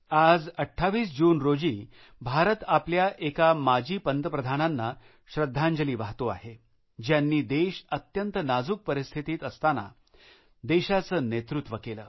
आज 28 जून रोजी भारत आपल्या एका माजी पंतप्रधानांना श्रद्धांजली वाहतो आहे ज्यांनी देश अत्यंत नाजूक स्थितीत असतांना देशाचे नेतृत्व केले